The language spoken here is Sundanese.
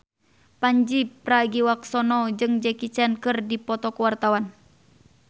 Pandji Pragiwaksono jeung Jackie Chan keur dipoto ku wartawan